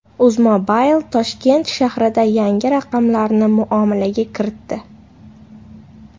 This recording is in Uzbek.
UzMobile Toshkent shahrida yangi raqamlarni muomalaga kiritdi.